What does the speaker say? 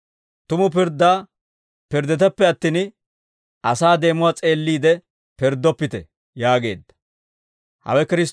Tumu pirddaa pirdditeppe attin, asaa deemuwaa s'eelliide pirddoppite» yaageedda.